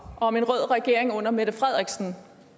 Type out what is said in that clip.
om en rød regering under mette frederiksen